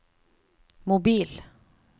mobil